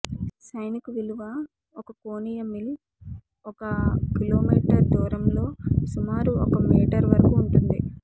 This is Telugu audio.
సైనిక విలువ ఒక కోణీయ మిల్ ఒక కిలోమీటర్ దూరంలో సుమారు ఒక మీటర్ వరకు ఉంటుంది